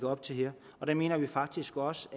op til her og der mener vi faktisk også